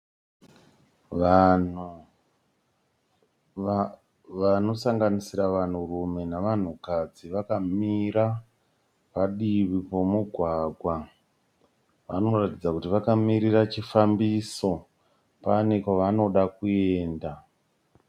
Vanhu vanosanganisira vanhurume navanhukadzi vakamira padivi pomugwagwa vanoratidza kuti vakamirira chifambiso, pane kwavanoda kuenda.